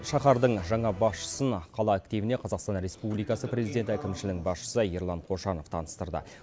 шаһардың жаңа басшысын қала активіне қазақстан республикасы президенті әкімшілігінің басшысы ерлан қошанов таныстырды